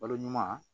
Balo ɲuman